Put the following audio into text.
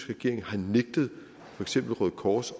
regering har nægtet for eksempel røde kors